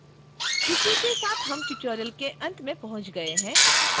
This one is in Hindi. इसी के साथ हम tutorial के अंत में पहुँच गए हैं